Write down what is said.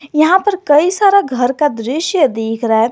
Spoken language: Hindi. यहां पर कई सारे घर का दृश्य दिख रहा है।